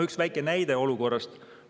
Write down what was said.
Üks väike näide olukorrast.